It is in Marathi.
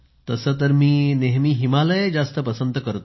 तसं तर मी नेहमी हिमालय जास्त पसंत करतो